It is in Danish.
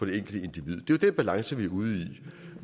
det enkelte individ det den balance vi er ude i